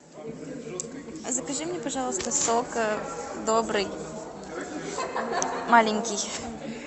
закажи мне пожалуйста сок добрый маленький